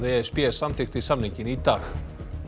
e s b samþykkti samninginn í dag